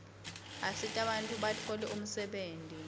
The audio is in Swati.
asita bantfu batfole umsebenti